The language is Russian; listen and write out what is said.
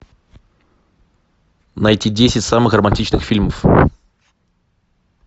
найти десять самых романтичных фильмов